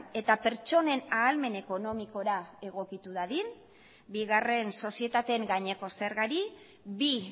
eta pertsonen ahalmen ekonomikora egokitu dadin bigarren sozietateen gaineko zergari bi